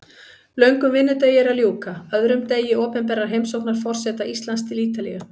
Löngum vinnudegi er að ljúka, öðrum degi opinberrar heimsóknar forseta Íslands til Ítalíu.